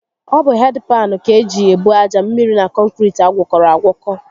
Ọ bụ hedị paanụ ka eji ebu aja, mmiri na kọnkiriti agwọkọrọ agwọkọ